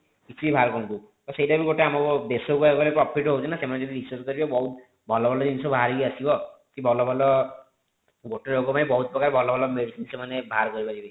କିଛି ବି ବାହାର କରନ୍ତୁ ତ ସେଇଟା ବି ଗୋଟେ ଆମକୁ କହିବାକୁ ଗଲେ ଦେଶ କୁ କହିବାକୁ ଗଲେ profit ହୋଉଛି ନା ସେମାନେ ଯଦି research କରିବେ ବହୁତ ଭଲ ଭଲ ଜିନିଷ ବାହାରିକି ଆସିବ କି ଭଲ ଭଲ ଗୋଟେ ରୋଗ ପାଇଁ ବହୁତ ପ୍ରକାର ଭଲ ଭଲ medicine ସେମାନେ ବାହାର କରି ପାରିବେ